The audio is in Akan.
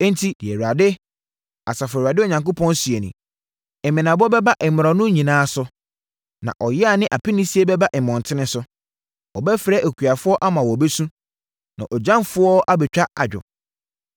Enti deɛ Awurade, Asafo Awurade Onyankopɔn seɛ nie: “Mmenabɔ bɛba mmorɔno nyinaa so na ɔyea ne apinisie bɛba mmɔntene so. Wɔbɛfrɛ akuafoɔ ama wɔabɛsu na agyamfoɔ abɛtwa adwo.